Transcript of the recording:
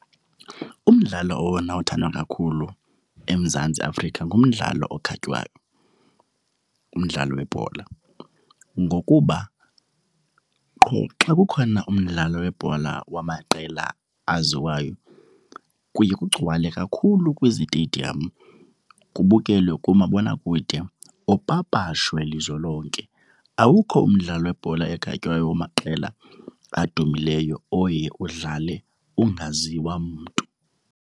Umdlalo owona othandwa kakhulu eMzantsi Afrika ngumdlalo okhatywayo, ngumdlalo webhola. Ngokuba qho xa kukhona umdlalo webhola wamaqela aziwayo, kuye kugcwale kakhulu kwizitediyamu, kubukelwe kumabonakude, upapashe lizwe lonke. Awukho umdlalo webhola ekhatywayo wamaqela abadumileyo oye udlale ungaziwa mntu.